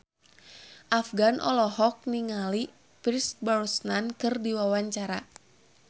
Afgan olohok ningali Pierce Brosnan keur diwawancara